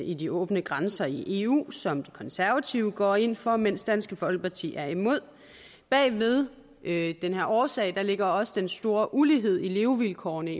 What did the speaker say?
i de åbne grænser i eu som de konservative går ind for mens dansk folkeparti er imod bag ved ved den her årsag ligger også den store ulighed i levevilkårene